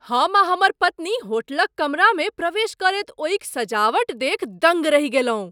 हम आ हमर पत्नी होटलक कमरामे प्रवेश करैत ओहिक सजावट देखि दङ्ग रहि गेलहुँ।